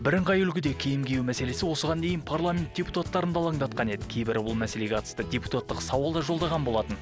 бірыңғай үлгіде киім кию мәселесі осыған дейін парламент депутаттарын да алаңдатқан еді кейбірі ол мәселеге қатысты депутаттық сауал да жолдаған болатын